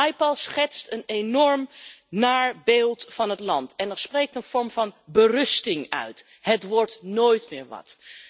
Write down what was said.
Naipaul schetst een enorm naar beeld van het land. Er spreekt een vorm van berusting uit. Het wordt nooit meer wat!